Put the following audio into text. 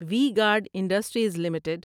we guard industries limited